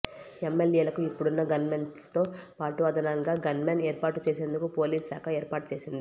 ఎమ్మెల్యేకు ఇప్పుడున్న గన్మెన్లతో పాటు అదనంగా గన్మెన్ ఏర్పాటు చేసేందుకు పోలీసుశాఖ ఏర్పాటు చేసింది